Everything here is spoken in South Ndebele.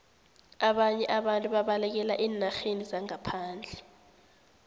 ababnye abantu babalekela eenarheni zangaphandle